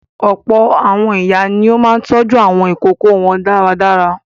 Ọ̀pọ̀ àwọn ìyá ni ó máa ń tọ́jú àwọn ìkókó wọn dáradára.